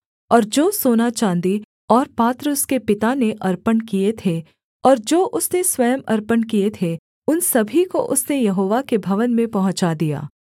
और जो सोना चाँदी और पात्र उसके पिता ने अर्पण किए थे और जो उसने स्वयं अर्पण किए थे उन सभी को उसने यहोवा के भवन में पहुँचा दिया